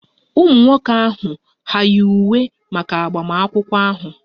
Ụmụ nwoke ahụ hà yi uwe maka agbamakwụkwọ ahụ?